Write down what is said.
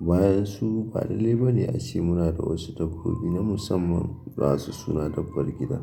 Bayan su ba balallai bane ace muna da wasu dabbobi na musamman basu suna dabbar gida.